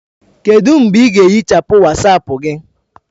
Kedu mgbe ị ga-ehichapụ Wasapu gị?